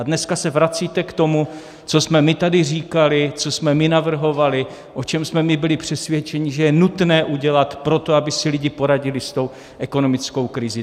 A dneska se vracíte k tomu, co jsme my tady říkali, co jsme my navrhovali, o čem jsme my byli přesvědčeni, že je nutné udělat pro to, aby si lidé poradili s tou ekonomickou krizí.